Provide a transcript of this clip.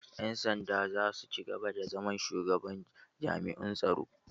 Ƴan sanda zasu cigaba da zama Shugaban jami'un tsaro.